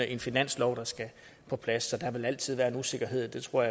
en finanslov der skal på plads så der vil altid være en usikkerhed jeg tror